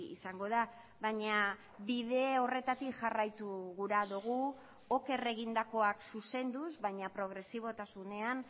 izango da baina bide horretatik jarraitu gura dugu oker egindakoak zuzenduz baina progresibotasunean